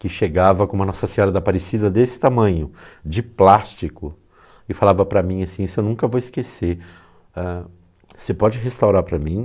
que chegava com uma Nossa Senhora da Aparecida desse tamanho, de plástico, e falava para mim assim, isso eu nunca vou esquecer, ãh, você pode restaurar para mim?